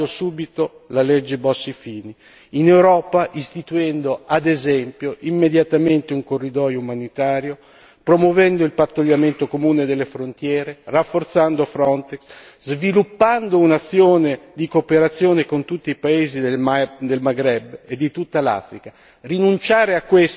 In Italia, cambiando subito la legge Bossi Fini, in Europa, istituendo, ad esempio, immediatamente, un corridoio umanitario, promuovendo il pattugliamento comune delle frontiere, rafforzando Frontex, sviluppando un'azione di cooperazione con tutti i paesi del Maghreb e di tutta l'Africa.